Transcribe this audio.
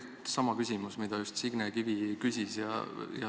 Mul on sama küsimus, mida Signe Kivi just küsis.